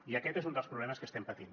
i aquest és un dels problemes que estem patint